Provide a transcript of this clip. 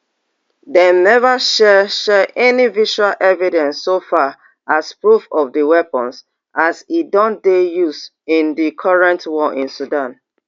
dem neva share share any visual evidence so far as proof of di weapons as e don dey used in di current war in sudan